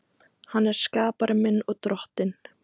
Hann er skapari minn og Drottinn.